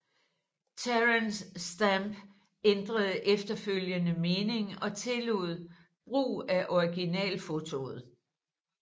Terence Stamp ændrede efterfølgende mening og tillod brug af originalfotoet